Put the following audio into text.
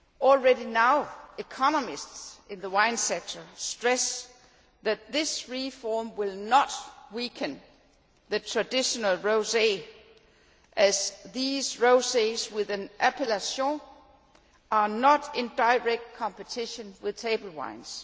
Already now, economists in the wine sector stress that this reform will not weaken traditional rosés as these rosés with an appellation are not in competition with table wines.